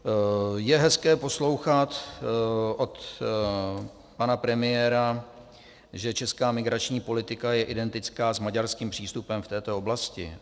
Je hezké poslouchat od pana premiéra, že česká migrační politika je identická s maďarským přístupem v této oblasti.